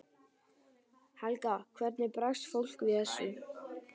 Helga: Hvernig bregst fólk við þessu?